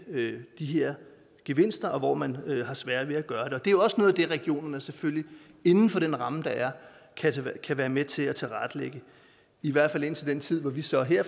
de her gevinster og hvor man har svært ved at gøre det det er jo også noget af det regionerne selvfølgelig inden for den ramme der er kan være med til at tilrettelægge i hvert fald indtil den tid hvor vi så her